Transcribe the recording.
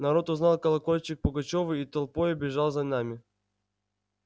народ узнал колокольчик пугачёва и толпою бежал за нами